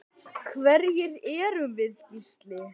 Hverjir erum við Gísli?